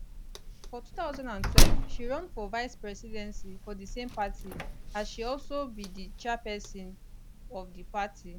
for 2012 she run for vice presidency for di same party as she also be di chairpesin of di party